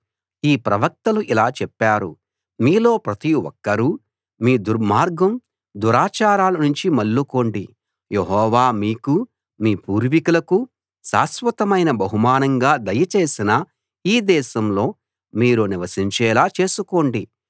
ఈ ప్రవక్తలు ఇలా చెప్పారు మీలో ప్రతి ఒక్కరూ మీ దుర్మార్గం దురాచారాల నుంచి మళ్ళుకోండి యెహోవా మీకూ మీ పూర్వీకులకూ శాశ్వతమైన బహుమానంగా దయచేసిన ఈ దేశంలో మీరు నివసించేలా చేసుకోండి